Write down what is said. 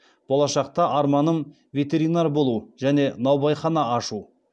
болашақта арманым ветеринар болу және наубайхана ашу